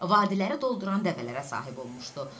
Vadiləri dolduran dəvələrə sahib olmuşdu.